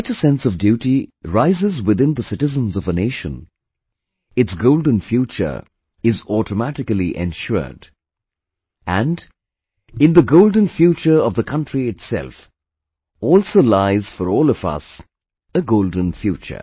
When such a sense of duty rises within the citizens of a nation, its golden future is automatically ensured, and, in the golden future of the country itself, also lies for all of us, a golden future